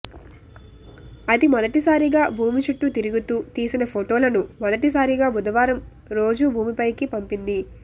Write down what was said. అది మొదటి సారిగా భూమి చుట్టూ తిరుగుతూ తీసిన ఫోటోలను మొదటి సారిగా బుదవారం రోజు భూమిపైకి పంపింది